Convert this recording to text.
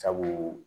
Sabu